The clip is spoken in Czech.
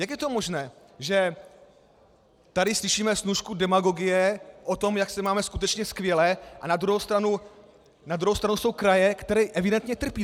Jak je to možné, že tady slyšíme snůšku demagogie o tom, jak se máme skutečně skvěle, a na druhou stranu jsou kraje, které evidentně trpí?